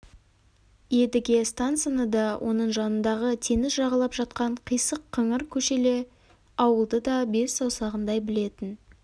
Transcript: едіге станцияны да оның жанындағы теңіз жағалап жатқан қисық-қыңыр көшелі ауылды да бес саусағындай білетін